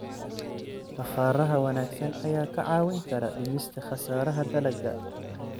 Bakhaarrada wanaagsan ayaa kaa caawin kara dhimista khasaaraha dalagga.